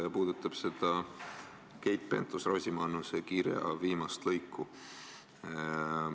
See puudutab Keit Pentus-Rosimannuse kirja viimast lõiku.